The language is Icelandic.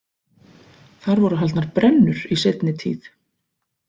Þar voru haldnar brennur í seinni tíð.